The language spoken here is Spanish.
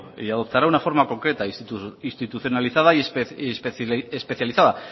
y adoptará una forma concreta institucionalizada y especializada